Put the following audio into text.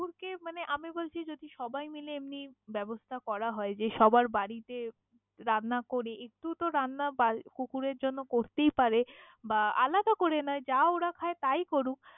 কুকুর কে আমি বলছি সবাই মিলে ব্যবস্থা করা হয় যে সবার বাড়িতে রান্না করে একটু তো রান্না বাড়ি কুকুরের জন্য করতেই পারে বা আলাদা করে নয় যা ওরা খায় তাইয়ী করুক।